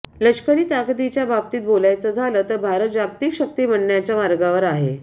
लष्करी ताकदीच्या बाबतीत बोलायचं झालं तर भारत जागतिक शक्ती बनण्याच्या मार्गावर आहे